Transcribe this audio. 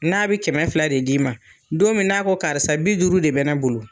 N'a bɛ kɛmɛ fila de d'i ma, don min n'a ko karisa bi duuru de bɛ ne bolo